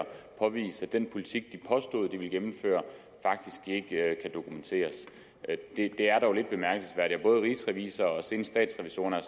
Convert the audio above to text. påvise at den politik de påstod de ville gennemføre faktisk ikke kan dokumenteres det er dog lidt bemærkelsesværdigt og både rigsrevisor og senest statsrevisorerne har